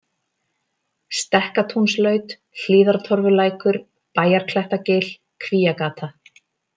Stekkatúnslaut, Hlíðartorfulækur, Bæjarklettagil, Kvíagata